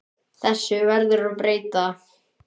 Þessu verður að breyta!